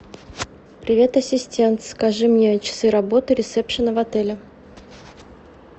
привет ассистент скажи мне часы работы ресепшена в отеле